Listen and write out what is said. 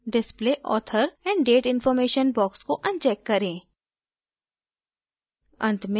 फिर display author and date information box को uncheck करें